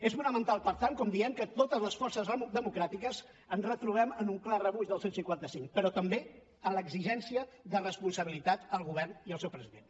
és fonamental per tant com diem que totes les forces democràtiques ens retrobem en un clar rebuig del cent i cinquanta cinc però també en l’exigència de responsabilitat al govern i al seu president